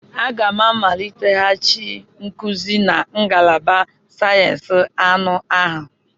Aga m a amaliteghachi nkuzi na ngalaba sayensị anụ ahụ.